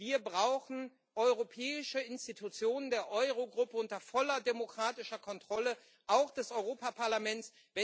Wir brauchen europäische Institutionen der Euro Gruppe unter voller demokratischer Kontrolle auch des Europaparlaments.